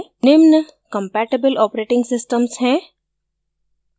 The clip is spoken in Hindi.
निम्न compatible operating systems हैं